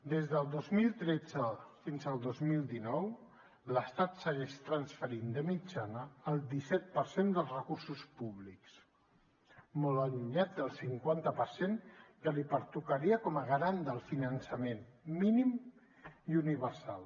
des del dos mil tretze fins al dos mil dinou l’estat segueix transferint de mitjana el disset per cent dels recursos públics molt allunyat del cinquanta per cent que li pertocaria com a garant del finançament mínim i universal